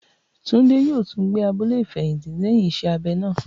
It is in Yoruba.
Tunji yoo tun gbe si abule ifẹhinti lẹhin iṣẹ abẹ naa.